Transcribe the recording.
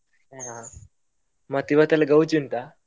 ಅಹ್ ಮತ್ತ್ ಇವತ್ ಎಲ್ಲ ಗೌಜಿ ಉಂಟಾ?